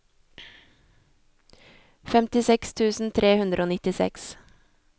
femtiseks tusen tre hundre og nittiseks